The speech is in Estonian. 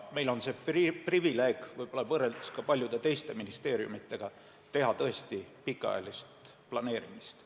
Meil on see privileeg – võib-olla võrreldes ka paljude teiste ministeeriumidega – teha tõesti pikaajalist planeerimist.